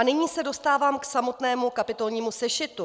A nyní se dostávám k samotnému kapitolnímu sešitu.